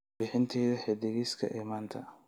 warbixintayda xiddigiska ee maanta